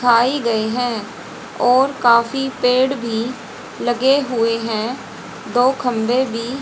ढाई गई हैं और काफी पेड़ भी लगे हुए हैं दो खंभे भी--